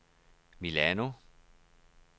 Milano